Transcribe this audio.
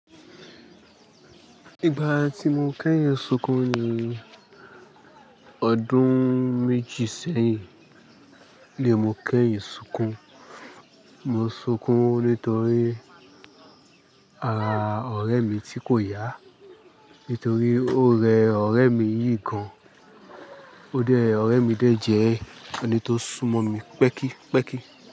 Ìgbà tí mo kẹ́yìn sunkún ni ọdún méjì sẹ́yìn ni mo kẹ́yìn sunkún. Mo sunkún nítorí ara ọ̀rẹ́ mi tí kò yá. Nítorí ó rẹ ọ̀rẹ́ mi yìí gan-an. Ó dá ẹ ọ̀rẹ́ mi dé jẹ ẹni tó súmọ́ mi pẹ́kípẹ́kí.